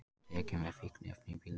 Tekin með fíkniefni í bílnum